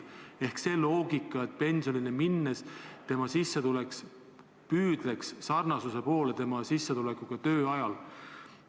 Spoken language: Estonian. Kehtib see loogika, et pensionile minnes võiks sissetulek moodustada võimalikult suure osa inimese sissetulekust töö ajal.